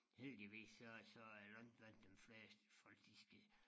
Heldigvis så så er langt blandt dem fleste folk de skal